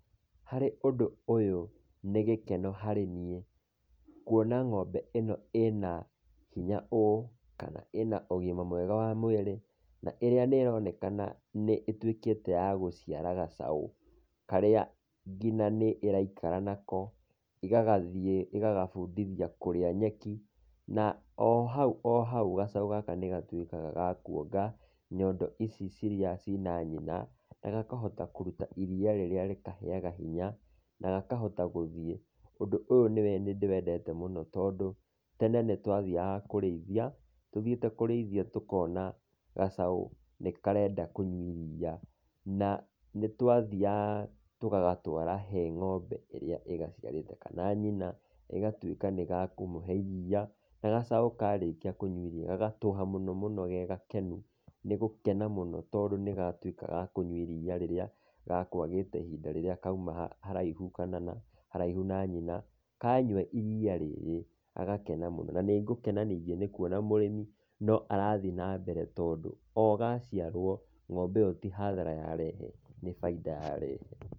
Harĩ ũndũ ũyũ nĩ gĩkeno harĩ niĩ kuona ng'ombe ĩno ina hinya ũũ, kana ĩna ũgima mwega wa mwĩrĩ na ĩrĩa ĩronekana nĩ ĩtuĩketa ya gũciara gacaũ, karĩa nĩ ngina ĩraikara nako, ĩgathiĩ ĩgagabũndithia kũrĩa nyeki, na ohau ohau gacaũ gaka nĩ gatuĩkaga gakuonga nyondo ici iria ciĩna nyina, gakahota kũruta, iria rĩrĩa rĩkaheyaga hinya na gakahota gũthiĩ. Ũndũ ũyũ nĩ ndĩwendete mũno tondũ tene nĩ twathiaga kũrĩithia, tũthiĩte kũrĩithia tũkona gacaũ nĩkarenda kũnyua iria na nĩtwathiaga tũgagatwara harĩ ng'ombe ĩrĩa ĩgaciarĩte, kana nyina igatuĩka nĩ gekũmĩhe iria na gacaũ karĩkia kũnyua iria gagatũha mũno mũno gegakenu nĩ gũkena mũno tondũ nĩgatuĩka gakũnyua iria rĩrĩa gekwagĩte ihinda rĩrĩa kauma haraihu kana haraihu na nyina. Kanyua iria rĩrĩ gagakena mũno, na nĩngũkena mũno nĩkuona mũrĩmi no arathiĩ nambere nĩ tondũ o gaciarwo, ng'ombe ĩyo tĩ hathara yarehe nĩ bainda yarehe.